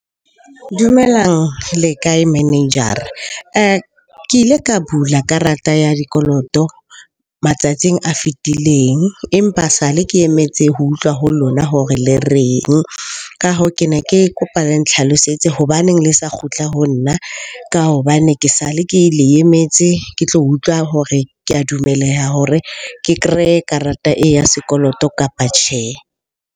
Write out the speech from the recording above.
Dumelang, le kae manager-ra? Ke ile ka bula karata ya dikoloto matsatsing a fetileng, empa sale ke emetse ho utlwa ho lona hore le reng? Ka hoo ke ne ke kopa le nhlalosetse hobaneng le sa kgutla ho nna. Ka hobane ke sale ke le emetse ke tlo utlwa hore ke a dumeleha hore ke kreye karata e, ya sekoloto kapa tjhe.